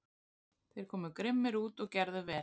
Þeir komu grimmir út og gerðu vel.